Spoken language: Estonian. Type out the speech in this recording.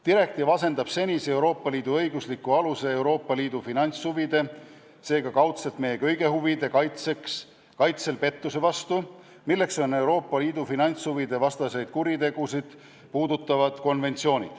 Direktiiv hakkab asendama Euroopa Liidu finantshuvide, seega kaudselt meie kõigi huvide senist pettusevastase kaitse õiguslikku alust, milleks on Euroopa Liidu finantshuvide vastaseid kuritegusid puudutav konventsioon.